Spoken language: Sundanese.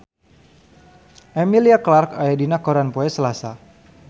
Emilia Clarke aya dina koran poe Salasa